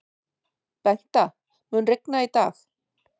Bengta, mun rigna í dag?